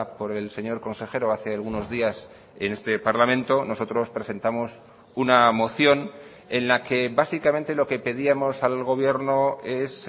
por el señor consejero hace algunos días en este parlamento nosotros presentamos una moción en la que básicamente lo que pedíamos al gobierno es